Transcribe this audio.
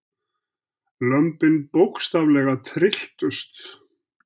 Lömbin bókstaflega trylltust.